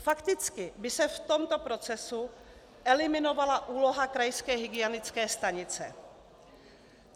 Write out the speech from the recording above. Fakticky by se v tomto procesu eliminovala úloha krajské hygienické stanice.